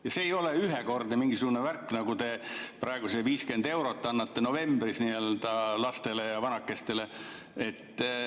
Ja see ei ole ühekordne mingisugune värk, nagu te annate 50 eurot novembris lastele ja vanakestele.